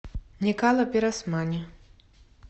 никала пиросмани